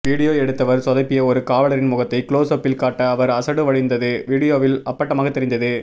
video எடுத்தவர் சொதப்பிய ஒரு காவலரின் முகத்தை குளோசப்பில் காட்ட அவர் அசடு வழிந்தது வீடியோவில் அப்பட்டமாக தெரிந்தது